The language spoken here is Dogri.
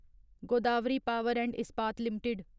Godavari power and Ispat limited